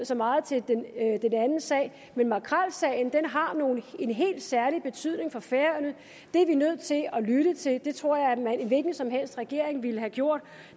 så meget til den anden sag men makrelsagen har en helt særlig betydning for færøerne det er vi nødt til at lytte til det tror jeg en hvilken som helst regering ville have gjort